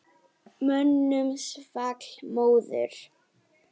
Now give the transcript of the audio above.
Mönnum svall móður.